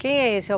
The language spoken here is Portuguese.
Quem é esse?